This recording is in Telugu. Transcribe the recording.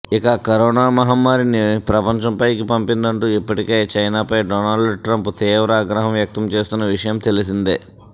ఇక కరోనా మహమ్మారిని ప్రపంచంపైకి పంపిందంటూ ఇప్పటికే చైనాపై డొనాల్డ్ ట్రంప్ తీవ్ర ఆగ్రహం వ్యక్తం చేస్తున్న విషయం తెలిసిందే